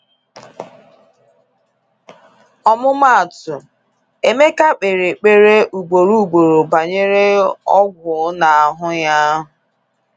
Ọmụmaatụ, Emeka kpeere ekpere ugboro ugboro banyere ógwú n’ahụ́ ya.